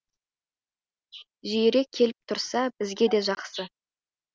жиірек келіп тұрса бізге де жақсы